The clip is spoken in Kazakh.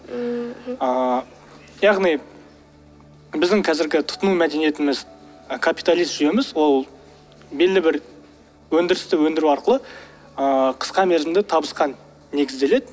ммм мхм ыыы яғни біздің қазіргі тұтыну мәдениетіміз капиталист жүйеміз ол белді бір өндірісті өндіру арқылы ыыы қысқа мерзімді табысқа негізделеді